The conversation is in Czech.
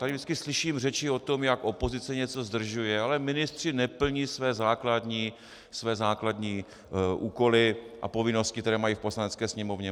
Tady vždycky slyším řeči o tom, jak opozice něco zdržuje, ale ministři neplní své základní úkoly a povinnosti, které mají v Poslanecké sněmovně.